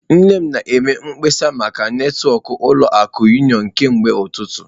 Nne m na-eme mkpesa maka netwọkụ ụlọ akụ unịọnụ kemgbe ụtụtụ.